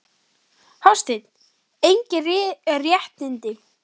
Hafsteinn: Engin réttindi?